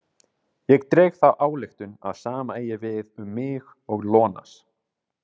Ég dreg þá ályktun að sama eigi við um mig og Ionas.